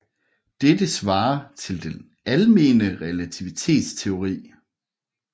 Dette svarer til den almene relativitetsteori